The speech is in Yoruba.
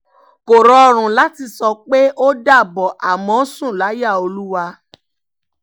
kò rọrùn láti sọ pé ó dàbọ̀ àmọ́ sùn láyà olúwa